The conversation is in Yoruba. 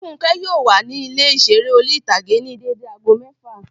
Fúnkẹ́ yóò wà ní ilé ìseré orí-ìtágé ní dédé aago mẹ́ẹ́fà